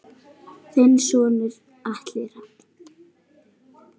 Þinn sonur Atli Rafn.